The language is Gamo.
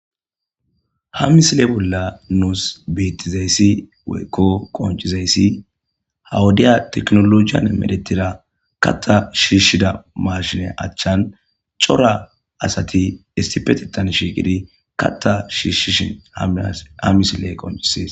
Ha misile bolla nuus bettizayssi woykko qoncizayssi ha wodiya teknolojiyan medhetida katta shiishshida maashine achchan cora asati issipetetan shiiqidi katta shiishshishin ha misiley qoncises.